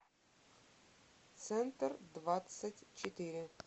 центр двадцать четыре